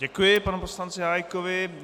Děkuji panu poslanci Hájkovi.